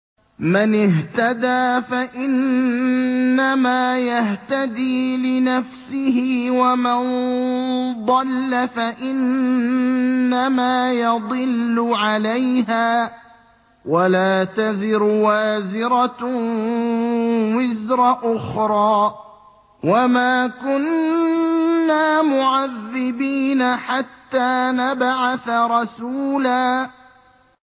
مَّنِ اهْتَدَىٰ فَإِنَّمَا يَهْتَدِي لِنَفْسِهِ ۖ وَمَن ضَلَّ فَإِنَّمَا يَضِلُّ عَلَيْهَا ۚ وَلَا تَزِرُ وَازِرَةٌ وِزْرَ أُخْرَىٰ ۗ وَمَا كُنَّا مُعَذِّبِينَ حَتَّىٰ نَبْعَثَ رَسُولًا